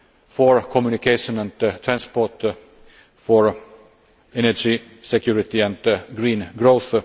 for communication and transport, for energy, security and green growth.